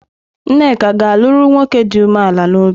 Nneka ga-alụrụ nwoke dị umeala n'obi?